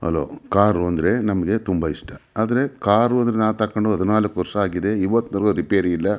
Hello car ಅಂದ್ರೆ ನಮಗೆ ತುಂಬ ಇಷ್ಟ ಆದ್ರೆ ಕಾರು ತಕೊಂಡು ಹದಿನಾಲ್ಕು ವರ್ಷ ಆಗಿದೆ ಇವಾತಿನವರಿಗೂ ರಿಪೇರಿ ಇಲ್ಲ.